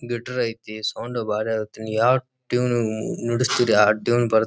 guitar ಐತಿ sound ಬಾರಿ ಐತ್ ಯಾವ್ ಟ್ಯೂನ್ ನುಡಿಸ್ತಿರ ಆಹ್ಹ್ ಟ್ಯೂನ್ ಬಾರ್--